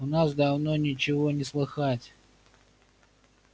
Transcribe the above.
у нас давно ничего не слыхать